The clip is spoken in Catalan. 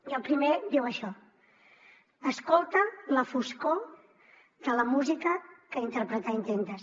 i el primer diu això escolta la foscor de la música que interpretar intentes